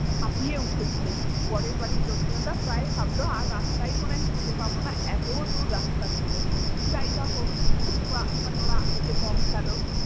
হাফিয়ে উঠেছিল বরের বাড়ির লোকজনেরা প্রায় ভাবলো আর রাস্তাই মনে হয় খুঁজে পাবো না এতো দূর রাস্তা ছিলো যাই বা হোক তবুও ওনারা এসে ।